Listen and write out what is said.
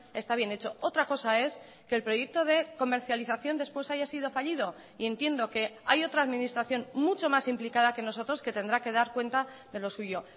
está bien hecho otra cosa es que el proyecto de comercialización después haya sido fallido y entiendo que hay otra administración mucho más implicada que nosotros que tendrá que dar cuenta de lo suyo